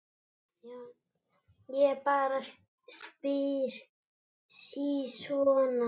Ég bara spyr sí svona.